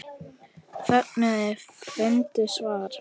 Fögnuðu er fundu svar.